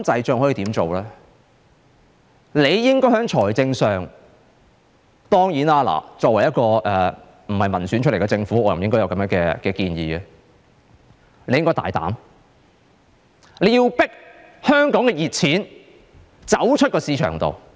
政府應該——當然，作為不是民選產生的政府，我不應該提出這樣的建議——政府應該大膽迫使香港的"熱錢"離開香港市場。